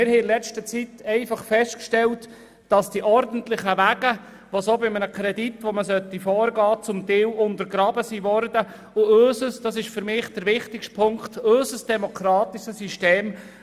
Wir haben in der letzten Zeit festgestellt, dass die ordentlichen Wege bei einer Kreditgenehmigung teilweise untergraben wurden, und unser demokratisches System í das ist der wichtigste Punkt í etwas darunter leidet.